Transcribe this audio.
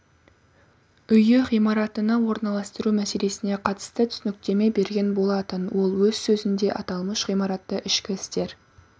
үйі ғимаратына орналастыру мәселесіне қатысты түсініктеме берген болатын ол өз сөзінде аталмыш ғимаратты ішкі істер